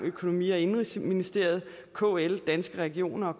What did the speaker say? økonomi og indenrigsministerium kl danske regioner